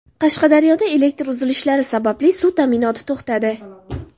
Qashqadaryoda elektr uzilishlari sababli suv ta’minoti to‘xtadi.